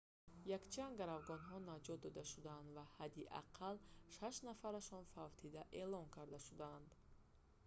якчанд гаравгонҳо наҷот дода шуданд ва ҳадди ақалл шаш нафарашон фавтида эълон карда шуданд